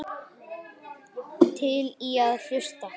Til í að hlusta.